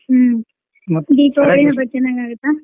ಹ್ಮ್ ದೀಪಾವಳಿ ಚೆನ್ನಾಗ್ ಆಗುತ್ತಾ.